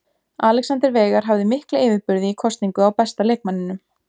Alexander Veigar hafði mikla yfirburði í kosningu á besta leikmanninum.